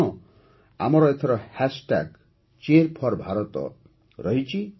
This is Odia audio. ଆଉ ହଁ ଏଥର ଆମର ହ୍ୟାଶ୍ଟ୍ୟାଗ୍ Cheer4Bharat ରହିଛି